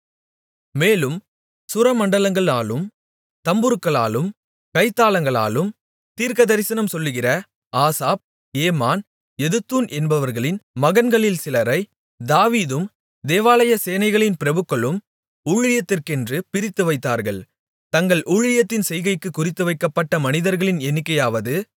மேலும் சுரமண்டலங்களாலும் தம்புருக்களாலும் கைத்தாளங்களாலும் தீர்க்கதரிசனம் சொல்லுகிற ஆசாப் ஏமான் எதுத்தூன் என்பவர்களின் மகன்களில் சிலரை தாவீதும் தேவாலய சேனைகளின் பிரபுக்களும் ஊழியத்திற்கென்று பிரித்துவைத்தார்கள் தங்கள் ஊழியத்தின் செய்கைக்குக் குறித்துவைக்கப்பட்ட மனிதர்களின் எண்ணிக்கையாவது